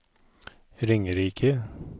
Ringerike